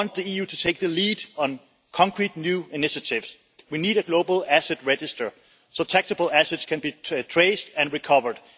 We want the EU to take the lead on concrete new initiatives we need a global asset register so that taxable assets can be traced and recovered